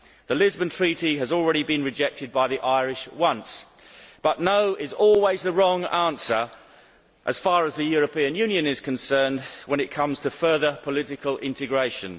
The Lisbon Treaty has already been rejected by the Irish once, but no' is always the wrong answer, as far as the European Union is concerned, when it comes to further political integration.